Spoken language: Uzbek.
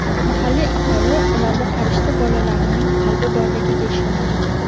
Mahalliy aholi ularda farishta bolalarining qalbi borligiga ishonadi.